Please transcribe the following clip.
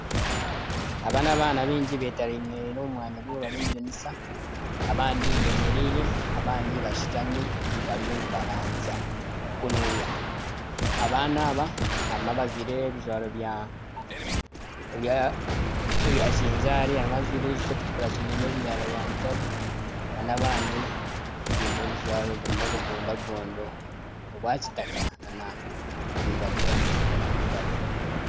Aba n'abaana baingi beteeraniire omu mwanya gumwe bari omu dirisa, abandi beemereire abandi bashutami bariyo nibaranzya kunuya. Abaana aba harimu abajwaire ebi ebijwaro bya ebya kinzaari harimu ajwaire eki ekirikutukura kiine ebinyarara bya mutare nana abandi baine ebijwaro birimu obugondagondo obwa kitaka nana okwiragura nana mutare.